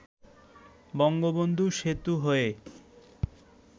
বঙ্গবন্ধু সেতু হয়ে